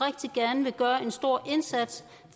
der er en stor indsats